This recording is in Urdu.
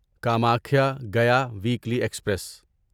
Kamakhya Gaya weekly express